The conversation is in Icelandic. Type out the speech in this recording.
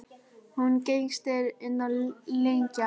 Hún gengst inn á lygina.